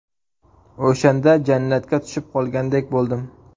O‘shanda jannatga tushib qolgandek bo‘ldim.